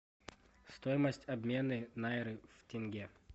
стоимость обмена найры в тенге